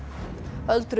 öldruðum